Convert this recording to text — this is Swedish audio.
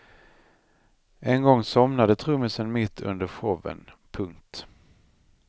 En gång somnade trummisen mitt under showen. punkt